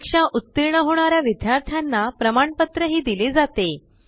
परीक्षा उत्तीर्ण होणार्या विद्यार्थाना प्रमाणपत्र ही दिले जाते